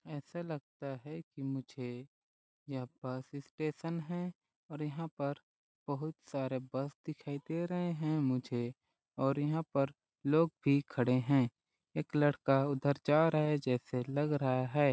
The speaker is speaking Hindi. ऐसा लगता है कि मुझे यह बस स्टैशन है और यहाँ पर बहुत सारे बस दिखाई दे रहे है मुझे और यहाँ पर लोग भी खड़े है एक लड़का उधर जा रहा है जैसे लग रहा है।